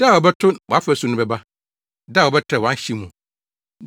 Da a wɔbɛto wʼafasu no bɛba, da a wɔbɛtrɛw wʼahye mu.